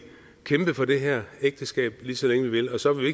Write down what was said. kæmpe for det her ægteskab lige så længe vi vil og så vil